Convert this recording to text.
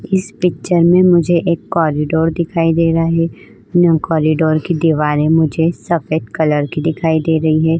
इस पिक्चर मे मुझे एक कॉरीडोर दिखाई दे रहा है । कॉरीडोर की दीवारें मुझे सफेद कलर की दिखाई दे रही हैं।